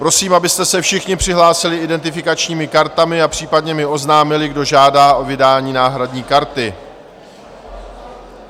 Prosím, abyste se všichni přihlásili identifikačními kartami a případně mi oznámili, kdo žádá o vydání náhradní karty.